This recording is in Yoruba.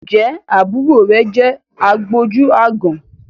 Ǹjẹ́ àbúrò rẹ̀ obìnrin jẹ́ àgbójú-aágan?